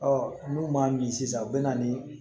n'u m'a min sisan u bɛ na ni